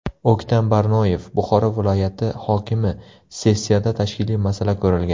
O‘ktam Barnoyev, Buxoro viloyati hokimi Sessiyada tashkiliy masala ko‘rilgan.